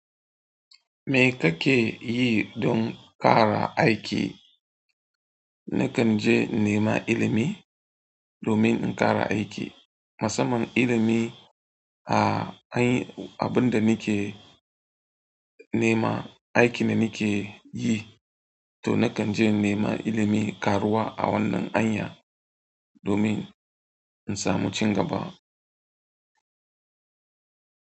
Me kake yi don ƙara aiki? Nakan je nema ilimi domin in ƙara aiki. Masamman ilimi a ai abin da nike nema aiki da nike yi to nakan je in nema ilimin karuwa a wannan hanya domin in samu cin gaba.